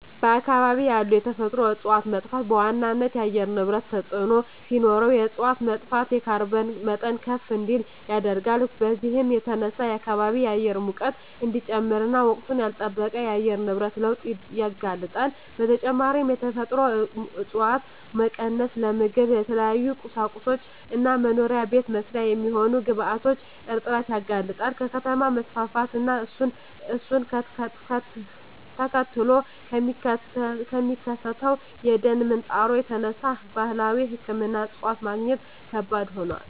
በአካባቢ ያሉ የተፈጥሮ እፀዋት መጥፋት በዋናነት ለአየር ንብረት ተፅዕኖ ሲኖረው እፅዋት መጥፋት የካርቦን መጠን ከፍ እንዲል ያደርጋል። በዚህም የተነሳ የከባቢ አየር ሙቀት እንዲጨምር እና ወቅቱን ላልለጠበቀ የአየር ንብረት ለውጥ ያጋልጣል። በተጨማሪም የተፈጥሮ እፀዋት መቀነስ ለምግብ፣ ለተለያዩ ቁሳቁሶች እና መኖሪያ ቤት መስሪያ የሚሆኑ ግብአቶች እጥረት ያጋልጣል። ከከተማ መስፋፋት እና እሱን ተከትሎ ከሚከሰተው የደን ምንጣሮ የተነሳ ባህላዊ ሕክምና እፅዋት ማግኘት ከባድ ሆኗል።